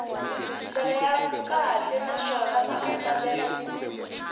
ndlela ya kahle naswona maandlalelo